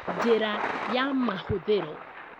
Njĩra ya mahũthĩro